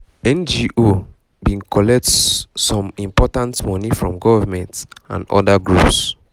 ngo been been collect some important money from government and other groups